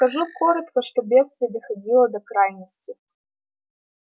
скажу коротко что бедствие доходило до крайности